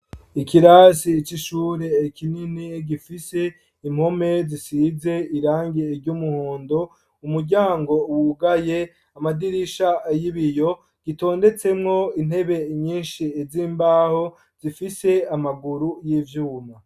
Ikirasi ci ishure ekinini gifise impome zisize irangie iry'umuhondo umuryango wugaye amadirisha ayibiyo gitondetsemwo intebe nyinshi ez'imbaho zifise amaguru y'ivyuma.